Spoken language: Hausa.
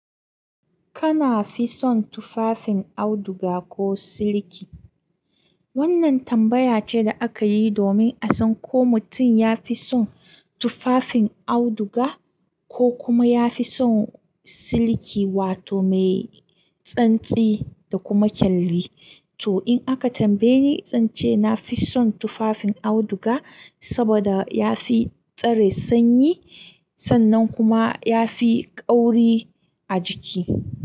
Kana fi son tufafin auduga ko siliki? Wannan tambaya ce da aka yi domin a san ko mutum ya fi son tufafin auduga ko kuma ya fi son siliki wato mai tsantsi da kuma kyalli. To in aka tambaye ni, zan ce na fi son tufafin auduga saboda ya fi tsare sanyi sannan kuma ya fi kauri a jiki.